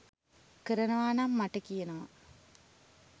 කරනවා නම් මට කියනවා.